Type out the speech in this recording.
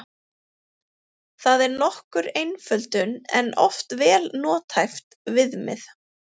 Það er nokkur einföldun en oft vel nothæft viðmið.